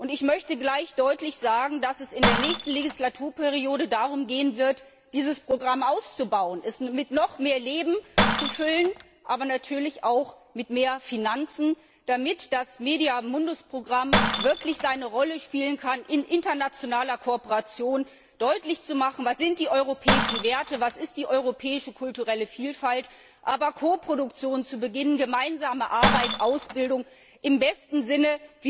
Ich möchte gleich deutlich sagen, dass es in der nächsten Wahlperiode darum gehen wird, dieses Programm auszubauen, es mit noch mehr Leben zu füllen, aber natürlich auch mit mehr Finanzen, damit das Programm MEDIA Mundus wirklich seiner Rolle gerecht werden kann, in internationaler Kooperation deutlich zu machen, was die europäischen Werte sind, was die europäische kulturelle Vielfalt ist, und auch Koproduktionen zu beginnen, gemeinsame Arbeit, eine Ausbildung im besten Sinne,